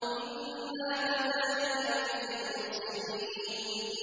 إِنَّا كَذَٰلِكَ نَجْزِي الْمُحْسِنِينَ